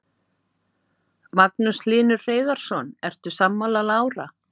Magnús Hlynur Hreiðarsson: Ertu sammála Lára?